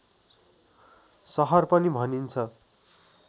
सहर पनि भनिन्छ